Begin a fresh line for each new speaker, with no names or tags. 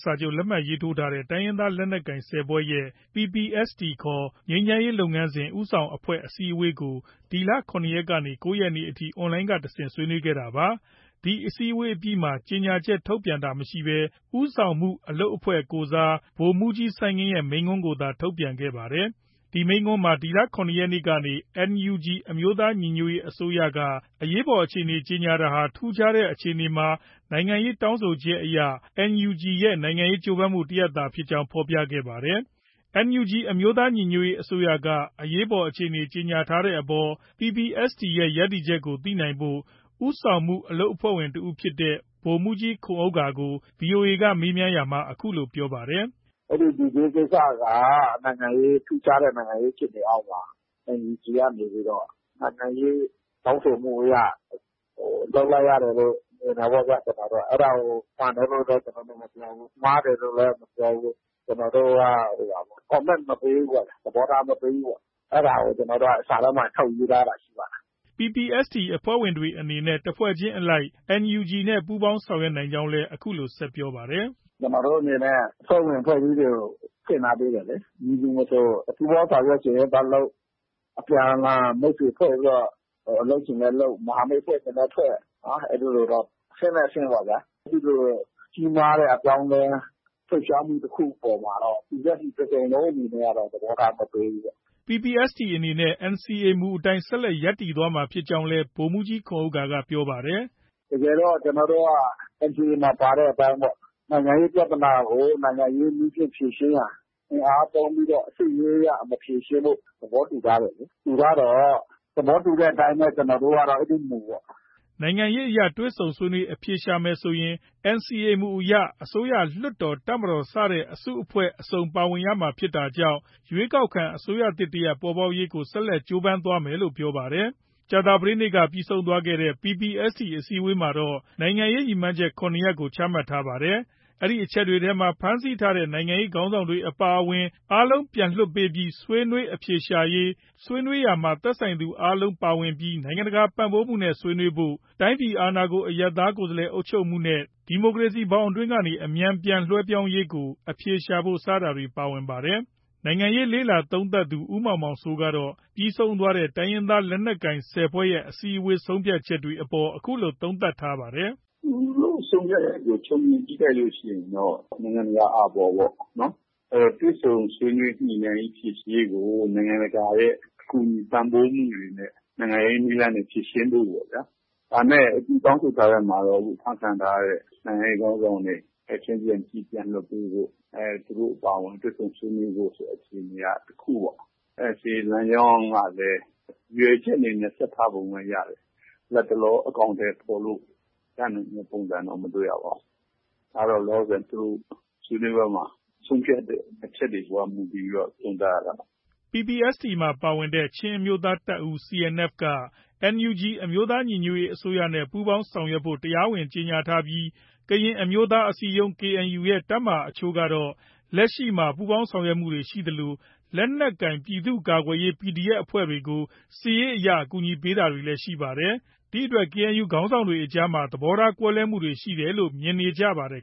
စာချုပ် လက်မှတ်ရေးထိုးထားတဲ့ တိုင်းရင်းသားလက်နက်ကိုင် ၁၀ ဖွဲ့ရဲ့ PPST ခေါ် ငြိမ်းချမ်းရေးလုပ်ငန်းစဉ် ဦးဆောင်အဖွဲ့အစည်းဝေးကို ဒီလ ၇ ရက်နေ့ကနေ ၉ရက်နေ့ထိ Online ကတဆင့် ဆွေးနွေးခဲ့တာပါ။ ဒီအစည်းအဝေးအပြီးမှာ ကြေညာချက် ထုတ်ပြန်တာမရှိဘဲ ဦးဆောင်မှုအလုပ်အဖွဲ့ကိုယ်စား ဗိုလ်မှုးကြီး စိုင်းငင်းရဲ့ မိန့်ခွန်းကိုသာ ထုတ်ပြန်ခဲ့ပါတယ်။ ဒီမိန့်ခွန်းမှာ ဒီလ ၇ ရက်နေ့က NUG အမျိုးသားညီညွတ်ရေးအစိုးရက အရေးပေါ်အခြေအနေကြေညာတာဟာ ထူးခြားတဲ့ အခြေအနေမှာ နိုင်ငံရေးတောင်းဆိုချက်အရ NUG ရဲ့ နိုင်ငံရေးကြိုးပမ်းမှုတစ်ရပ်သာဖြစ်ကြောင်း ဖော်ပြခဲ့ပါတယ်။ NUG အမျိုးသားညီညွတ်ရေးအစိုးရက အရေးပေါ်အခြေအနေကြေညာတဲ့အပေါ် PPST ရဲ့ ရပ်တည်ချက်ကို သိနိုင်ဖို့ ဦးဆောင်မှုအလုပ်အဖွဲ့ဝင်တစ်ဦးဖြစ်တဲ့ ဗိုလ်မှုးကြီး ခွန်ဥက္ကာကို VOA မေးမြန်းရာမှာ အခုလို ပြောပါတယ်။
“အဲဒီ D Day ကိစ္စက ထူးခြားတဲ့ နိုင်ငံရေးဖြစ်စဉ်အောက်မှာ NUG ကနေပြီးတော့ နိုင်ငံရေး တောင်းဆိုမှုအရ လုပ်လိုက်ရတယ်လို့ မြင်တယ်ပေါ့ဗျာ။ ကျနော်တို့က အဲဒါကို မှန်တယ်လို့လည်း ကျနော်တို့ မပြောဘူး။ မှားတယ်လို့လည်း ကျနော်တို့ မပြောဘူး။ ကျနော်တို့က Comment မပေးဘူးပေါ့ဗျာ။ သဘောထားမပေးဘူးပေါ့။ အဲဒါကို ကျနော်တို့က စာထဲမှာ ထုတ်ရေးထားတာရှိပါတယ်
။ ” PPST အဖွဲ့ဝင်တွေအနေနဲ့ တစ်ဖွဲ့ချင်းအလိုက် NUG နဲ့ ပူးပေါင်းဆောင်ရွက်နိုင်ကြောင်းလည်း အခုလို ဆက်လက်ပြောပါတယ်။ “
ကျနော်တို့ အနေနဲ့ အဖွဲ့ဝင် အဖွဲ့အစည်းတွေကိုဖွင့် ထားပေးတယ်လေ။ မည်သူမဆို ပူးပေါင်းဆောင်ရွက်ချင်ရင်သွားလုပ်၊ အပြန်အလှန် မိတ်ဆွေဖွဲ့ပြီးတော့ လုပ်ချင်လည်းလုပ်၊ မဟာမိတ် ဖွဲ့ချင်လည်း ဖွဲ့၊ အဲဒီလိုတော့ အဆင့်လိုက်အဆင့်ပေါ့ဗျာ။ အဲဒီလို ကြီးမားတဲ့အပြောင်းအလဲ လှုပ်ရှားမှု တစ်ခုအပေါ်မှာတော့ PPST တစ်စုံလုံးအနေနဲ့ကတော့ သဘောထားမပေးဘူးပေါ့။
” PPST အနေနဲ့ NCA မူအတိုင်း ဆက်လက်ရပ်တည်သွားမှာ ဖြစ်ကြောင်းလည်း ဗိုလ်မှုးကြီး ခွန်ဥက္ကာက ပြောပါတယ်။
“တကယ်တော့ ကျနော်တို့က NCA မှာ ပါတဲ့အတိုင်းပေါ့။ နိုင်ငံရေးပြဿနာကို နိုင်ငံရေးနည်းနဲ့ ဖြေရှင်းရန် အင်အားသုံးပြီး စစ်ရေးအရ မဖြေရှင်းဖို့ သဘောတူထားတယ်လေ။ တူထားတော့ သဘောတူတဲ့အတိုင်းပဲ ကျနော်တို့ကတော့ အဲဒီမူပေါ့။
” နိုင်ငံရေးအရ တွေ့ဆုံဆွေးနွေးအဖြေရှာမယ်ဆိုရင် NCA မူအရ အစိုးရ၊ လွှတ်တော်၊ တပ်မတော် စတဲ့ အစုအဖွဲ့ အစုံပါဝင်ရမှာဖြစ်တာကြောင့် ရွေးကောက်ခံအစိုးရသစ်တရပ် ပေါ်ပေါက်ရေးကို ဆက်လက် ကြိုးပမ်းသွားမယ်လို့ ပြောပါတယ်။ ကြာသပတေးနေ့က ပြီးဆုံးသွားတဲ့ PPST အစည်းအဝေးမှာတော့ နိုင်ငံရေး ရည်မှန်းချက် ၇ ရပ်ကို ချမှတ်ထားပါတယ်။ အဲဒီအချက်တွေထဲမှာ ဖမ်းဆီးထားတဲ့ နိုင်ငံရေးခေါင်းဆောင်တွေအပါအဝင် အားလုံးပြန် လွှတ်ပေးပြီး ဆွေးနွေးအဖြေရှာရေး၊ ဆွေးနွေးရာမှာ သက်ဆိုင်သူအားလုံးပါဝင်ပြီး နိုင်ငံတကာပံ့ပိုးမှုနဲ့ ဆွေးနွေးဖို့၊ တိုင်းပြည်အာဏာကို အရပ်သားကိုယ်စားလှယ်အုပ်ချုပ်မှုနဲ့ ဒီမိုကရေစီဘောင်အတွင်းကနေ အမြန် ပြန်လွဲှပြောင်းရေး ကို အဖြေရှာဖို့ စတာတွေ ပါဝင်ပါတယ်။ နိုင်ငံရေးလေ့လာသုံးသပ်သူ ဦးမောင်မောင်စိုးကတော့ ပြီးဆုံးသွားတဲ့ တိုင်းရင်းသားလက်နက်ကိုင် ၁၀ ဖွဲ့ရဲ့ အစည်းအဝေးဆုံးဖြတ်ချက်တွေ အပေါ် အခုလို သုံးသပ်ထားပါတယ်။
“ သူတို့ ဆုံးဖြတ်ချက်ကို ခြုံငုံကြည့်လိုက်လို့ ရှိရင်တော့ နိုင်ငံတကာ အာဘော်ပေါ့။ တွေ့ဆုံညှိနှိုင်းဖြေရှင်းရေးကို နိုင်ငံတကာရဲ့ ကူညီပံ့ပိုးမှုတွေနဲ့ နိုင်ငံရေးနည်းလမ်းနဲ့ ဖြေရှင်းဖို့ပေါ့ဗျာ။ ဒါပေမဲ့ သူတောင်းဆိုထားတဲ့အထဲမှာတော့ အခု အဖမ်းခံထားရတဲ့ နိုင်ငံရေးခေါင်းဆောင်တွေ ချက်ချင်း ပြန်လွှတ်ပေးဖို့၊ သူတို့အပါအဝင်တွေ့ဆုံဆွေးနွေးဖို့ ဆိုတဲ့ အခြေအနေက တစ်ခုပေါ့။ ဒါပေမဲ့ NCA လမ်းကြောင်းကလည်း ရည်ရွယ်ချက်အနေနဲ့ ဆက်ထားပုံတော့ ရတယ်။ လတ်တလော အကောင်အထည်ဖော်လို့ ရနိုင်တဲ့ ပုံစံတော့ မတွေ့ရပါဘူး။ ဒါတော့ သူတို့ ဆွေးနွေးပွဲမှာ ဆုံးဖြတ်တဲ့ အချက်တွေအပေါ် မူတည်ပြီး သုံးသပ်ရတာပေါ့
။” PPST မှာ ပါဝင်တဲ့ချင်းအမျိုးသားတပ်ဦး CNF က NUG အမျိုးသားညီညွတ်ရေးအစိုးရနဲ့ ပူးပေါင်းဆောင်ရွက်ဖို့ တရားဝင် ကြေညာထားပြီး ကရင်အမျိုးသားအစည်းအရုံး KNU ရဲ့ တပ်မဟာအချို့ကတော့ လက်ရှိမှာ ပူးပေါင်းဆောင်ရွက်မှုတွေ ရှိသလို လက်နက်ကိုင်ပြည်သူ့ကာကွယ်ရေး PDF အဖွဲ့တွေကို စစ်ရေးအရ အကူအညီပေးနေတာတွေ ရှိပါတယ်။ ဒီ့အတွက် KNU ခေါင်းဆောင်တွေကြား သဘောထားကွဲမှုတွေရှိတယ်လို့ မြင်နေရပါတယ်